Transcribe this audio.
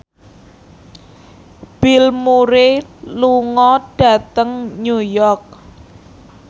Bill Murray lunga dhateng New York